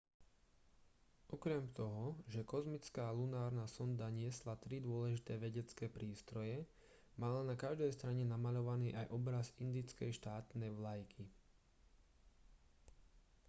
okrem toho že kozmická lunárna sonda niesla tri dôležité vedecké prístroje mala na každej strane namaľovaný aj obraz indickej štátnej vlajky